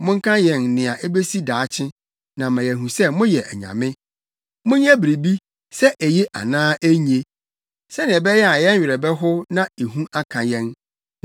Monka yɛn nea ebesi daakye, na ama yɛahu sɛ moyɛ anyame. Monyɛ biribi, sɛ eye anaa enye, sɛnea ɛbɛyɛ a yɛn werɛ bɛhow na ehu aka yɛn.